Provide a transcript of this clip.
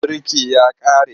Man birki ya ƙare.